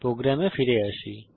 প্রোগ্রামে ফিরে আসি